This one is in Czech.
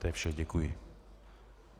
To je vše, děkuji.